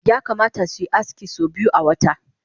Yakamata maza suyi aski so biyu awata